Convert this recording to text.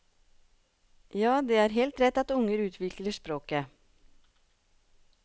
Ja, det er heilt rett at ungar utviklar språket.